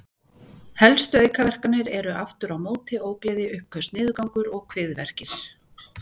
Helstu aukaverkanir eru aftur á móti ógleði, uppköst, niðurgangur og kviðverkir.